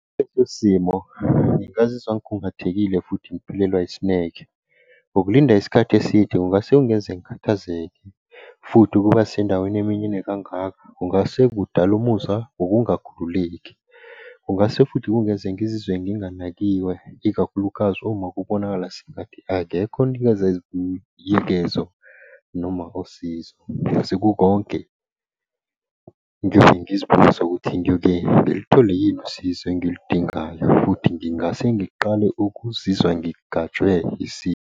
Leso simo, ngingazizwa ngikhungathekile futhi ngiphelelwa isineke. Ngokulinda isikhathi eside ungase ungenze ngikhathazeke, futhi ukuba sendaweni eminyene kangaka kungase kudale umuzwa wokungakakhululeki. Kungase futhi kungeze ngizizwe nginganakiwe, ikakhulukazi uma kubonakala sengathi akekho onikeza noma usizo. Sekukonke ngiyobe ngizibuza ukuthi ngiyoke ngilithole yini usizo engiludingayo futhi ngingase ngiqale ukuzizwa ngigajwe .